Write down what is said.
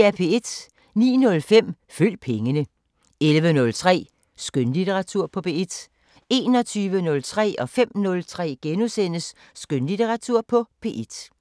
09:05: Følg pengene 11:03: Skønlitteratur på P1 21:03: Skønlitteratur på P1 * 05:03: Skønlitteratur på P1 *